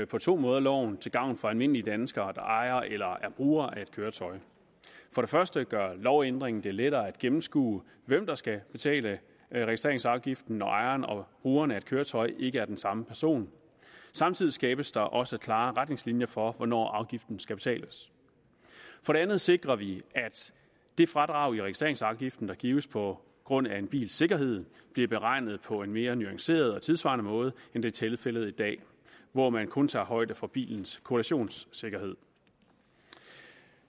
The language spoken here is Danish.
på to måder loven til gavn for almindelige danskere der ejer eller er brugere af et køretøj for det første gør lovændringen det lettere at gennemskue hvem der skal betale registreringsafgiften når ejeren og brugeren af et køretøj ikke er den samme person samtidig skabes der også klare retningslinjer for hvornår afgiften skal betales for det andet sikrer vi at det fradrag i registreringsafgiften der gives på grund af en bils sikkerhed bliver beregnet på en mere nuanceret og tidssvarende måde end det er tilfældet i dag hvor man kun tager højde for bilens kollisionssikkerhed